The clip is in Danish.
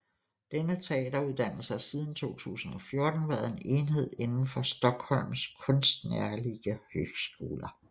Denne teateruddannelse har siden 2014 været en enhed indenfor Stockholms konstnärliga högskola